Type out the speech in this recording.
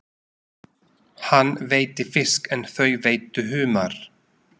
Hann veiddi fisk en þau veiddu humar.